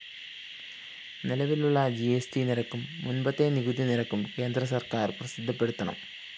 നിലവിലുളള GST നിരക്കും മുമ്പത്തെ നികുതി നിരക്കും കേന്ദ്രസര്‍ക്കാര്‍ പ്രസിദ്ധപ്പെടുത്തണം